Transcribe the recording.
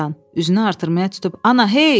Üzünü artırmaya tutub, "Ana, hey", dedi.